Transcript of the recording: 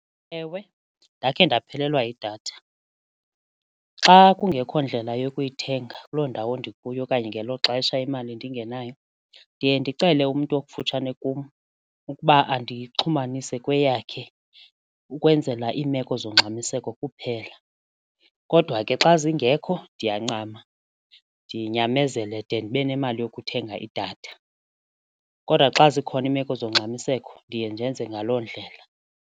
Ewe, ndakhe ndaphelelwa yidatha. Xa kungekho ndlela yokuyithenga kuloo ndawo ndikuyo okanye ngelo xesha imali ndingenayo ndiye ndicele umntu okufutshane kum ukuba andixhumanise kweyakhe ukwenzela iimeko zongxamiseko kuphela, kodwa ke xa zingekho ndiyancama ndinyamezele de ndibe nemali yokuthenga idatha kodwa xa zikhona iimeko zongxamiseko ndiye ndenze ngaloo ndlela.